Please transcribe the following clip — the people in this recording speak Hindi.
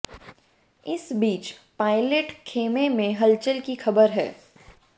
इस बीच पायलट खेमे में हलचल की खबर है